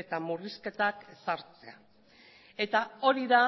eta murrizketak ezartzea eta hori da